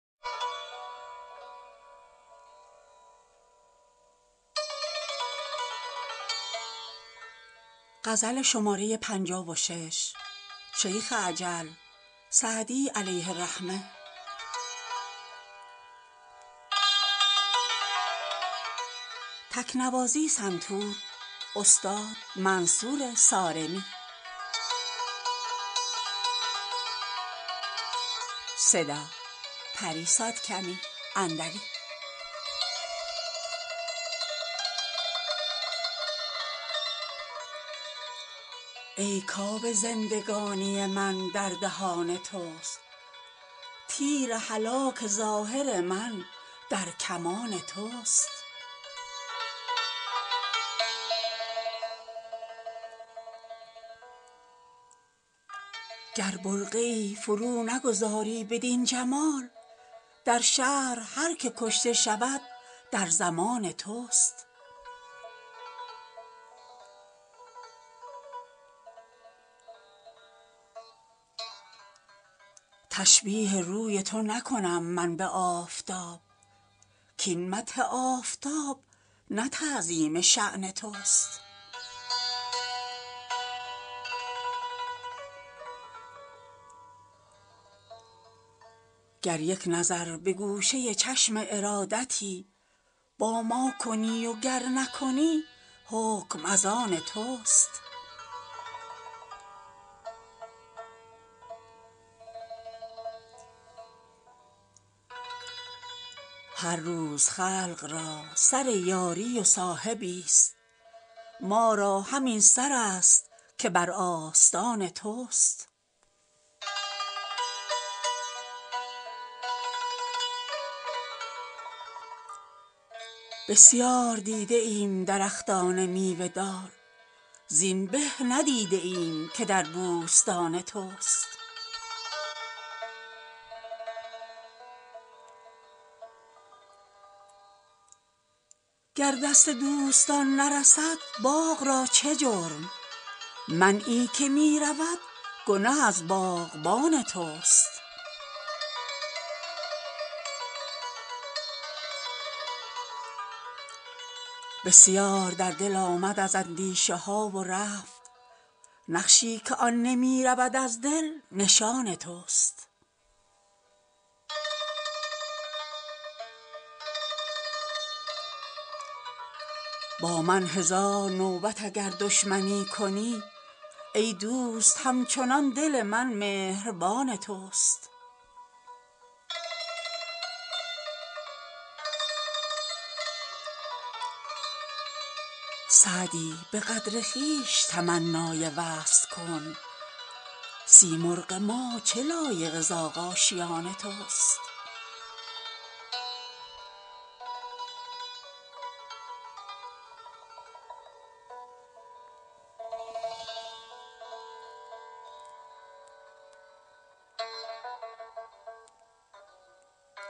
ای کآب زندگانی من در دهان توست تیر هلاک ظاهر من در کمان توست گر برقعی فرو نگذاری بدین جمال در شهر هر که کشته شود در ضمان توست تشبیه روی تو نکنم من به آفتاب کاین مدح آفتاب نه تعظیم شان توست گر یک نظر به گوشه چشم ارادتی با ما کنی و گر نکنی حکم از آن توست هر روز خلق را سر یاری و صاحبی ست ما را همین سر است که بر آستان توست بسیار دیده ایم درختان میوه دار زین به ندیده ایم که در بوستان توست گر دست دوستان نرسد باغ را چه جرم منعی که می رود گنه از باغبان توست بسیار در دل آمد از اندیشه ها و رفت نقشی که آن نمی رود از دل نشان توست با من هزار نوبت اگر دشمنی کنی ای دوست هم چنان دل من مهربان توست سعدی به قدر خویش تمنای وصل کن سیمرغ ما چه لایق زاغ آشیان توست